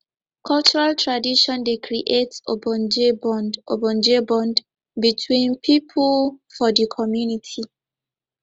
cultural tradition dey create ogbonge bond ogbonge bond between pipo for di community